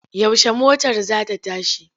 Yaushe motar za ta tashi?